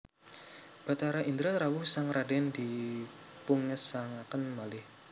Bathara Indra rawuh sang radèn dipungesangaken malih